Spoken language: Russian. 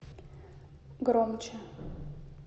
громче